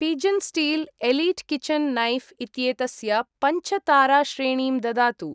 Pigeon steel elite kitchen knife इत्येतस्य पञ्च ताराश्रेणीं ददातु।